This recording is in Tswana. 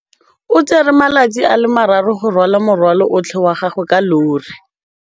O tsere malatsi a le marraro go rwala morwalo otlhe wa gagwe ka llori.